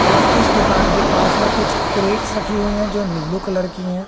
और इस दुकान के पास में कुछ क्रेट्स रखी हुई हैं जो नीलू कलर की हैं।